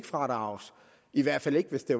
fradrages i hvert fald ikke hvis det